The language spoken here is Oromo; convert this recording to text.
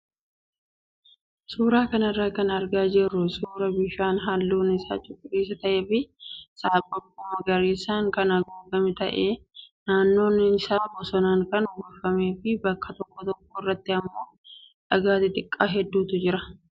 Suuraa kanarraa kan argaa jirru suuraa bishaan halluun isaa cuquliisa ta'ee fi saaphaphuu magariisaan kan haguugame ta'ee naannoon isaa bosonaan kan uwwifamee fi bakka tokko tokko irratti immoo dhagaa xixiqoo hedduutu jira.